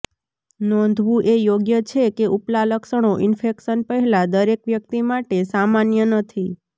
નોંધવું એ યોગ્ય છે કે ઉપલા લક્ષણો ઇન્ફેક્શન પહેલાં દરેક વ્યક્તિ માટે સામાન્ય નથી